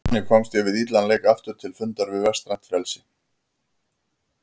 Þannig komst ég við illan leik aftur til fundar við vestrænt frelsi.